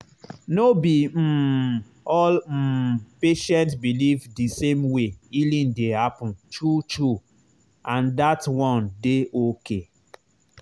no be um all um patient believe the same way healing dey happen true true—and that one dey okay.